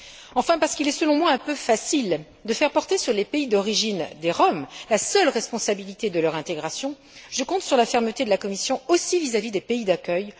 Enfin, parce qu'il est, selon moi, un peu facile de faire porter sur les pays d'origine des Roms la seule responsabilité de leur intégration, je compte sur la fermeté de la Commission aussi vis à vis des pays d'accueil.